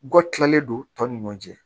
Gɔ tilalen don tɔ ni ɲɔ cɛ